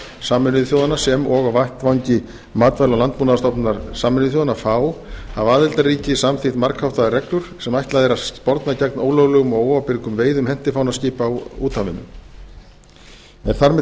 sameinuðu þjóðanna sem og á vettvangi matvæla og landbúnaðarstofnunar sameinuðu þjóðanna þá hafa aðildarríki samþykkt margháttaðar reglur sem ætlað er að sporna gegn ólöglegum og óábyrgum veiðum hentifánaskipa á úthafinu er þar með